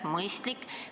Mõistlik!